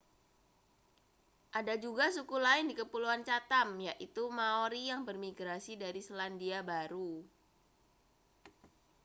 ada juga suku lain di kepulauan chatham yaitu maori yang bermigrasi dari selandia baru